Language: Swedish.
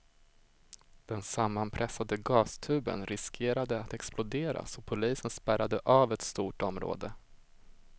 Den sammanpressade gastuben riskerade att explodera så polisen spärrade av ett stort område.